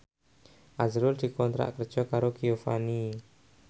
azrul dikontrak kerja karo Giovanni